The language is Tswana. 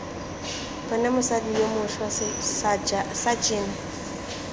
bone mosadi yo mošwa sajene